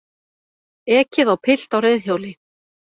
Ekið á pilt á reiðhjóli